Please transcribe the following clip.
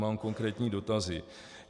Mám konkrétní dotazy.